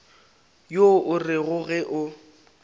yo o rego ge o